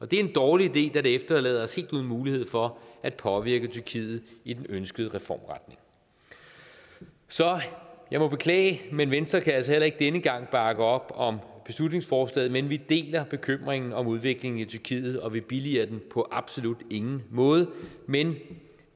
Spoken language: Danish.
det er en dårlig idé da det efterlader os helt uden mulighed for at påvirke tyrkiet i den ønskede reformretning så jeg må beklage men venstre kan altså heller ikke denne gang bakke op om beslutningsforslaget men vi deler bekymringen om udviklingen i tyrkiet og vi billiger den på absolut ingen måde men